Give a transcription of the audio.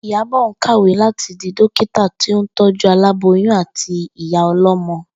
Ìyábò̩ ń kàwé láti di dókítà tó ń tó̩jú aláboyún àti ìyá o̩ló̩mo̩